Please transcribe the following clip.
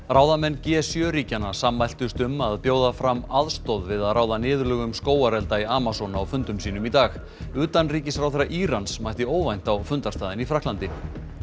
ráðamenn g sjö ríkjanna sammæltust um að bjóða fram aðstoð við að ráða niðurlögum skógarelda í Amazon á fundum sínum í dag utanríkisráðherra Írans mætti óvænt á fundarstaðinn í Frakklandi